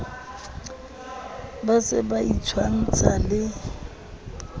ba se ba itshwantsha le